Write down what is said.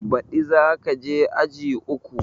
Ba ɗi za ka je aji uku